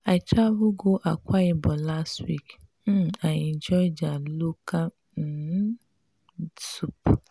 i travel go akwa ibom last week. um i enjoy their local um soup.